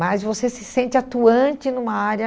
Mas você se sente atuante numa área...